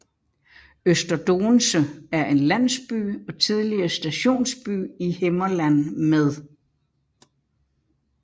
Øster Doense er en landsby og tidligere stationsby i Himmerland med